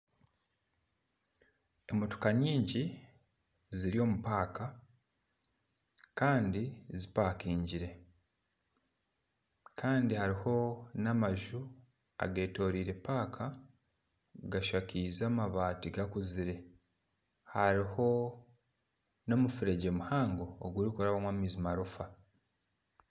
Emotoka nyingi ziri omu paaka Kandi zipakingire Kandi hariho namaju agetoreire paaka gashakaije amabaati gakuzire hariho nomufuregye muhango ogurikurabwamu amaizi amarofa